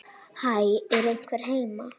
Hæ, er einhver heima?